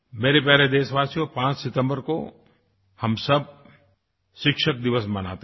मेरे प्यारे देशवासियो 5 सितम्बर को हम सब शिक्षक दिवस मनाते हैं